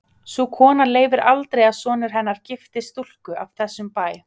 Sú kona leyfir aldrei að sonur hennar giftist stúlku af þessum bæ.